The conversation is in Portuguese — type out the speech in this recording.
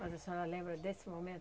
Mas a senhora lembra desse momento?